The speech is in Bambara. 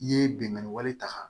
I ye bingani wale ta